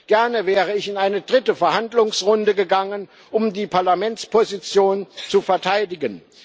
Gerne wäre ich in eine dritte Verhandlungsrunde gegangen, um die Parlamentsposition zu verteidigen.